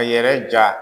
A yɛrɛ ja